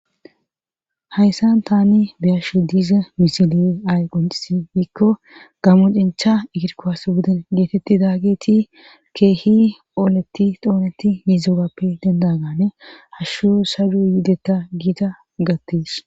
Hayssan tani biyashu diize misile ay quncisi yikko gammocencha ekirkohas buden geetetti daageti keehi ooleti xooneti hizogappe dendagane hashshu sadu yidetta giita gattees.